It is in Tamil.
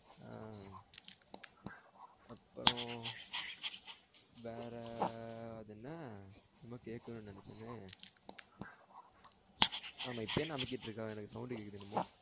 ஆஹ் அப்றோ வேற அது என்ன என்னமோ கேக்கணும் நெனச்சனே ஆமா இப்போ என்ன அமுக்கிட்டு இருக்க எனக்கு sound கேக்குது என்னமோ